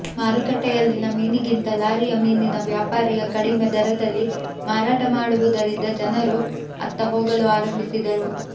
ಮಾರುಕಟ್ಟೆಯಲ್ಲಿನ ಮೀನಿಗಿಂತ ಲಾರಿಯ ಮೀನಿನ ವ್ಯಾಪಾರಿಯ ಕಡಿಮೆ ದರದಲ್ಲಿ ಮಾರಾಟ ಮಾಡುವುದರಿಂದ ಜನರು ಅತ್ತ ಹೋಗಲು ಆರಂಭಿಸಿದರು